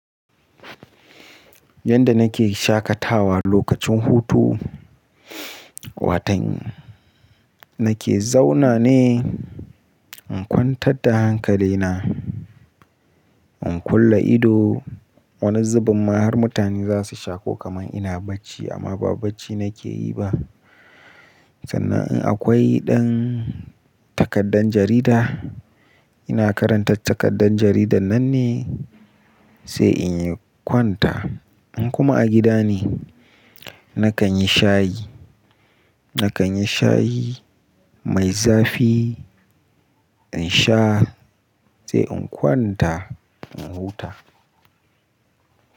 Yanda nake shaƙatawa lokacin hutu, watan nake zauna ne in kwantar da hankali na, in kulle ido. Wani zubin ma har mutane za su shaƙo kamar ina bacci amma ba bacci nake yi ba. Sannan in akwai ɗan takardar jarida, ina karanta takardar jaridar nan ne sai in yi kwanta. In kuma a gida ne, na kan yi shayi, na kan yi shayi mai zafi in sha sai in kwanta in huta.